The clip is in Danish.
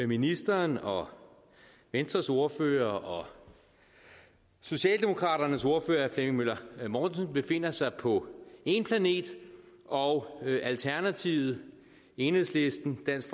ministeren og venstres ordfører og socialdemokraternes ordfører flemming møller mortensen befinder sig på én planet og alternativet enhedslisten dansk